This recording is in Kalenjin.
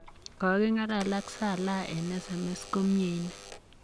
koking'alal ak Salah eng sms ko miei inne.